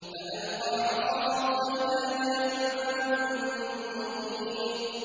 فَأَلْقَىٰ عَصَاهُ فَإِذَا هِيَ ثُعْبَانٌ مُّبِينٌ